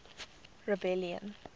rebellion